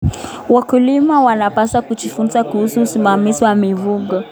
Wakulima wanapaswa kujifunza kuhusu usimamizi wa mifugo.